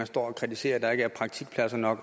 står og kritiserer at der ikke er praktikpladser nok